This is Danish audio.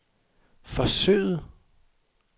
forsøget